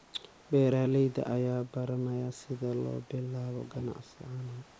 Beeralayda ayaa baranaya sida loo bilaabo ganacsiga caanaha.